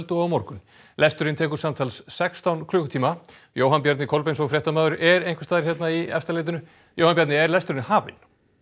og á morgun lesturinn tekur samtals sextán klukkutíma Jóhann Bjarni Kolbeinsson fréttamaður er einhvers staðar hérna í Efstaleiti Jóhann Bjarni er lesturinn hafinn